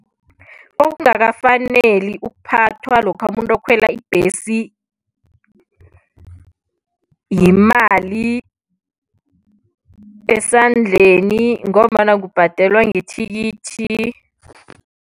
Okungakafaneli ukuphathwa lokha umuntu okhwela ibhesi yimali esandleni ngombana kubhadelwa ngethikithi.